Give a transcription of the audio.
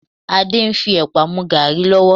Adé ń fi ẹ̀pà mú gàárì lọ́wọ́